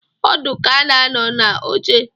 Ọdụ ka a na-anọ n'oche